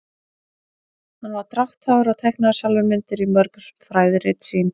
hann var drátthagur og teiknaði sjálfur myndir í mörg fræðirit sín